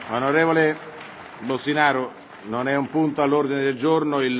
Onorevole Boştinaru, non è un punto all'ordine del giorno.